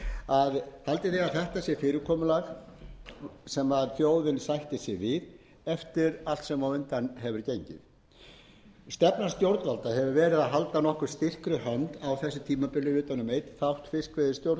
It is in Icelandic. eftir það sem á hefur gengið dæmi nú hver fyrir sig stefna stjórnvalda hefur verið að halda nokkuð styrkri hönd á þessu tímabili utan um einn þátt